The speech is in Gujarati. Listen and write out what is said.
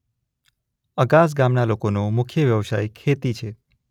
અગાસ ગામના લોકોનો મુખ્ય વ્યવસાય ખેતી છે.